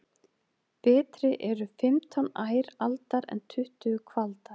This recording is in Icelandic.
Betri eru fimmtán ær aldar en tuttugu kvaldar.